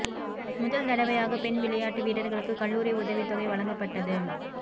முதல் தடவையாக பெண் விளையாட்டு வீரர்களுக்கு கல்லூரி உதவி தொகை வழங்கப்பட்டது